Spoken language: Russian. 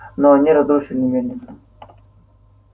но они разрушили мельницу